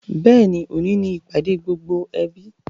Bẹ́ẹ̀ni, òní ni ìpàdé gbogbo ẹbí